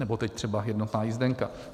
Nebo teď třeba jednotná jízdenka.